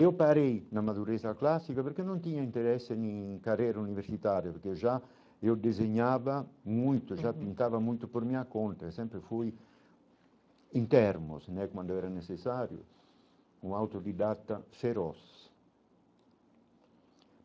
Eu parei na madureza clássica, porque não tinha interesse em carreira universitária, porque eu já eu desenhava muito, já pintava muito por minha conta, sempre fui em termos, né, quando era necessário, um autodidata feroz.